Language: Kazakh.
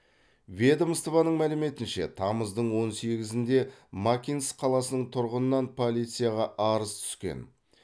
ведомствоның мәліметінше тамыздың он сегізінде макинск қаласының тұрғынынан полицияға арыз түскен